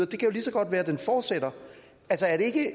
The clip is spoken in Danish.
kan jo lige så godt være at den fortsætter